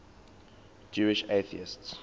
jewish atheists